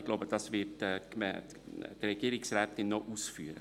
Ich glaube, die Regierungsrätin wird dies noch weiter ausführen.